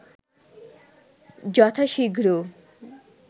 যথা-শীঘ্র